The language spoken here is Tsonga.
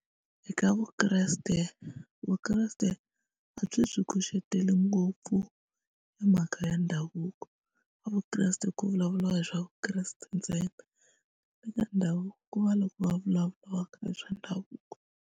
Eka Vukreste, Vukreste a byi byi kuceteli ngopfu hi mhaka ya ndhavuko ka Vukreste ku vulavuriwa hi swa Vukreste ntsena eka ndhavuko ku va la ko va vulavulaka hi swa ndhavuko.